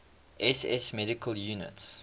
ss medical units